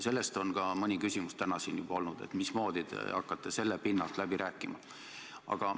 Selle kohta on siin täna ka mõni küsimus juba olnud, et mismoodi te hakkate sel pinnal läbi rääkima.